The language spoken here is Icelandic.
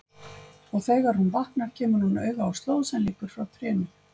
Og þegar hún vaknar kemur hún auga á slóð sem liggur frá trénu.